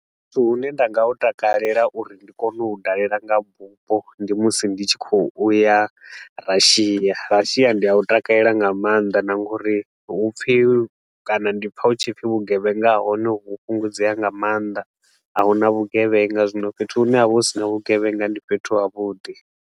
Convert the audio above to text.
Fhethu hune nda nga hu takalela uri ndi kone u u dalela nga bufho ndi musi ndi tshi khou u ya Russia, ndi a u takalela nga maanḓa na nga uri hupfi kana ndi pfa hu tshi pfi vhugevhenga ha hone ho fhungudzea nga mannḓa, a hu na vhugevhenga, zwino fhethu hune ha vha hu si na vhugevhenga ndi fhethu ha vhuḓi.